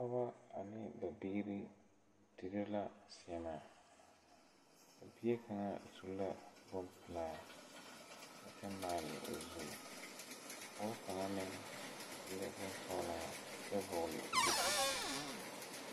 Pɔgɔ ane ba biire dire la sèèmaa a bie kaŋa su la bon pelaa a kyɛ maale o zu a pɔge kaŋa meŋ su la bonsɔglaa kyɛ vɔgle duuku.